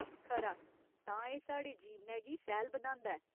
खरा, तां एह् साढ़े जीवनै गी सैह्‌ल बनांदा ऐ।